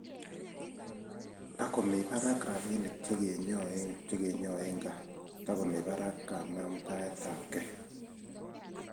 takomii barak rapinik chekenyoe ngaa takomii barak kanamtaet ab kei